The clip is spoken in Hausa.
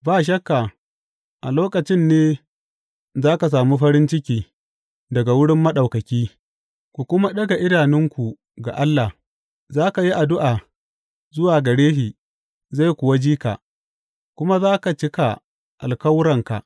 Ba shakka a lokacin ne za ka sami farin ciki daga wurin Maɗaukaki, ku kuma ɗaga idanunku ga Allah Za ka yi addu’a zuwa gare shi, zai kuwa ji ka, kuma za ka cika alkawuranka.